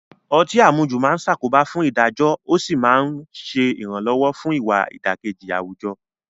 Ọtí àmujù máa ń ṣàkóbá fún ìdájọ́ ó sì ń ṣe ìrànwọ́ fún ìwà ìdàkejì àwùjọ